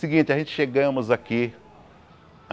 Seguinte, a gente chegamos aqui.